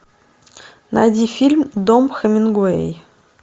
найди фильм дом хемингуэй